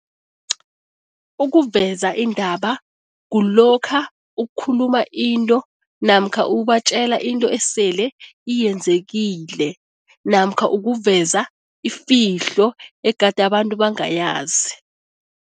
Ukuveza indaba kulokha ukhuluma into namkha ubatjela into esele iyenzekile namkha ukuveza ifihlo egade abantu bangayazi.